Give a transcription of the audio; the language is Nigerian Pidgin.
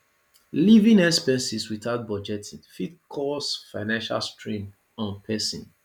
living expenses without budgeting fit cause financial strain on person